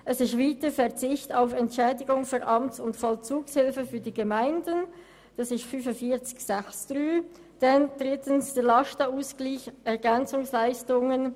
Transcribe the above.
Zweitens geht es um die Massnahme 45.6.3, «Verzicht auf Entschädigung für Amts- und Vollzugshilfe für die Gemeinden», drittens um die Massnahme 45.10.2, «Lastenausgleich Ergänzungsleistungen».